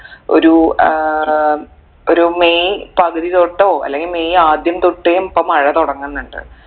ഒരു ഏർ ഒരു മെയ് പകുതി തൊട്ടോ അല്ലെങ്കി മെയ് ആദ്യം തൊട്ടേ ഇപ്പൊ മഴ തുടങ്ങുന്നുണ്ട്